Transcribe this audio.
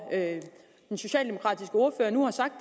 den socialdemokratiske ordfører nu har sagt